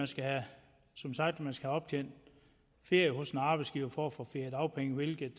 skal have optjent ferie hos en arbejdsgiver for at få feriedagpenge hvilket